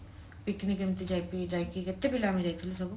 picnic ଏମିତି ଯାଇକି ଯାଇକି କେତେ ପିଲା ଆମେ ଯାଇଥିଲୁ ସବୁ